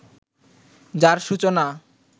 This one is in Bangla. যার সূচনা